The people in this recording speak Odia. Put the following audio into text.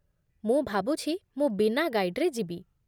ମୁଁ ଭାବୁଛି ମୁଁ ବିନା ଗାଇଡ଼୍‌ରେ ଯିବି